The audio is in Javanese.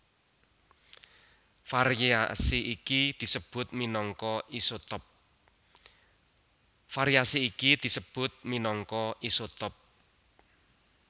Variasi iki disebut minangka isotop